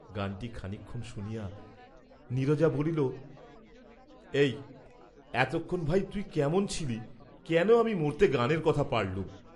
গানটি খানিকক্ষণ শুনিয়া নীরজা বলিল, "এই এতক্ষণ ভাই তুই কেমন ছিলি, কেন আমি মরতে গানের কথা পাড়লুম।"